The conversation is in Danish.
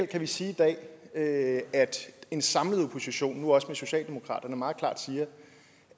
kan vi sige i dag at en samlet opposition nu også med socialdemokratiet meget klart siger